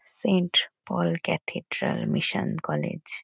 Saint Paul Cathedral Mission College.